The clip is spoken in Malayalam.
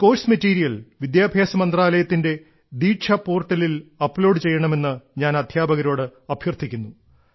ഈ കോഴ്സ് മെറ്റീരിയൽ വിദ്യാഭ്യാസ മന്ത്രാലയത്തിന്റെ ദീക്ഷ പോർട്ടലിൽ അപ്ലോഡ് ചെയ്യണമെന്ന് ഞാൻ അദ്ധ്യാപകരോട് അഭ്യർത്ഥിക്കുന്നു